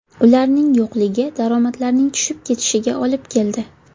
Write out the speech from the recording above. Ularning yo‘qligi daromadlarning tushib ketishiga olib keldi.